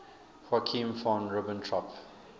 joachim von ribbentrop